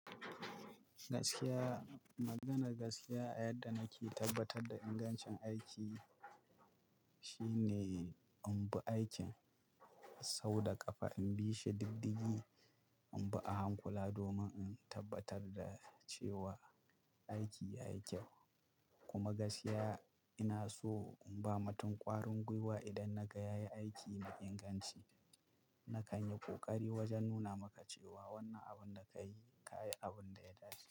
Gaskiya, maganar gaskiya a yadda nake tabbatar da ingancin aiki shine in bi aikin sau da ƙafa, in bi shi diddigi, in bi a hankula domin in tabbatar da cewa aiki yayi kyau. Kuma gaskiya ina so in ba matun ƙwarin gwiwa idan na ga ya yi aiki da inganci. Na kan yi ƙoƙari wajen nuna maka cewa wannan abun da ka yi, ka yi abun da ya dace.